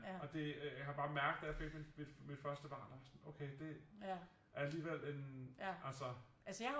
Og det øh jeg kan bare mærke da jeg fik mit første barn der var jeg sådan okay det er alligevel en altså